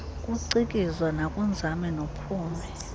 kucikizwa nakunzame nophumi